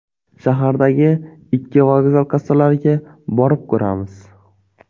Shahardagi ikki vokzal kassalariga borib ko‘ramiz.